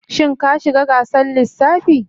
Shin ka shiga gasar lissafi?